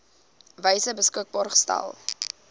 wyse beskikbaar gestel